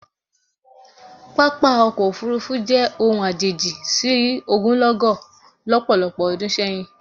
Pápá ọkọ̀ òfuurufú jẹ́ ohun àjèjì sí ogunlọ́gọ̀ lọ́pọ̀lọpọ̀ ọdún sẹ́yìn